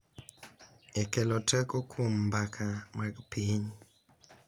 E kelo teko kuom mbaka mag piny.